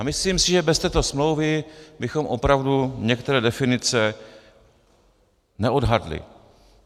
A myslím si, že bez této smlouvy bychom opravdu některé definice neodhadli.